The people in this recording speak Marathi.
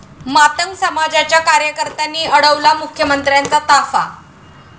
मातंग समाजाच्या कार्यकर्त्यांनी अडवला मुख्यमंत्र्यांचा ताफा